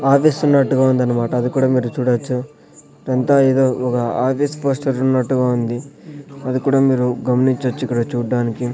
ఆఫీసున్నట్టుగా ఉందన్నమాట అది కూడా మీరు చూడొచ్చు రంతా ఏదో ఒగ ఆఫీస్ పోస్టర్ ఉన్నట్టుగా ఉంది అది కూడా మీరు గమనించొచ్చు ఇక్కడ చూడ్డానికి--